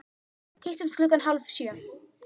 Hittumst klukkan hálf sjö.